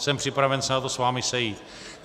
Jsem připraven se na to s vámi sejít.